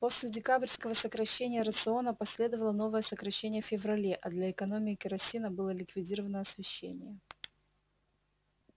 после декабрьского сокращения рациона последовало новое сокращение в феврале а для экономии керосина было ликвидировано освещение